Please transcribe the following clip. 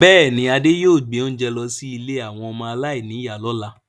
Bẹẹni, Adé yóò gbé oúnjẹ lọ sí ilé àwọn ọmọ aláìníìyá lọ́la.